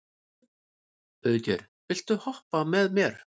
Auðgeir, viltu hoppa með mér?